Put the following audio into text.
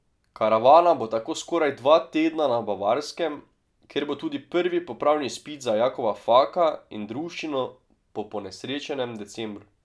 Karavana bo tako skoraj dva tedna na Bavarskem, kjer bo tudi prvi popravni izpit za Jakova Faka in druščino po ponesrečenem decembru.